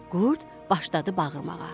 Qurd başladı bağırmağa.